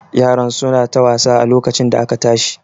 Yaran su na ta wasa a lokacin da aka tashi